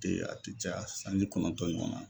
Ten a ti caya sanji kɔnɔntɔn ɲɔgɔnna